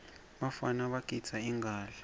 bafana bagidza ingadla